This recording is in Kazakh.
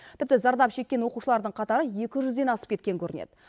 тіпті зардап шеккен оқушылардың қатары екі жүзден асып кеткен көрінеді